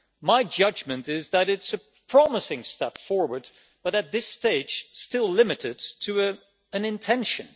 My judgment is that it is a promising step forward, but at this stage, it is still limited to an intention.